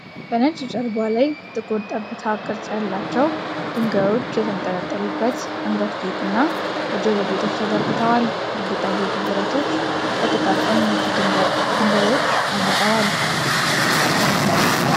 በነጭ ጀርባ ላይ ጥቁር ጠብታ ቅርጽ ያላቸው ድንጋዮች የተንጠለጠሉበት አንገት ጌጥና የጆሮ ጌጦች ተዘርግተዋል። የጌጣጌጡ ብረቶች በጥቃቅን ነጭ ድንጋዮች አጊጠዋል።